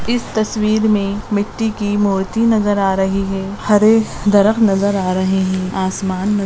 इस तस्वीर में मिट्टी की मूर्ति नजर आ रही है हरे दरख्त नजर आ रहा है और आसमान नजर --